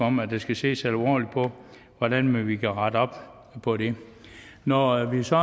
om at der skal ses alvorligt på hvordan vi kan rette op på det når vi så